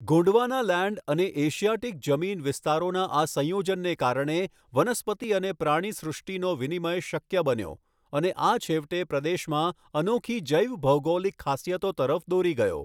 ગોંડવાનાલેન્ડ અને એશિયાટીક જમીન વિસ્તારોના આ સંયોજનને કારણે, વનસ્પતિ અને પ્રાણીસૃષ્ટિનો વિનિમય શક્ય બન્યો અને આ છેવટે પ્રદેશમાં અનોખી જૈવભૌગોલિક ખાસિયતો તરફ દોરી ગયો.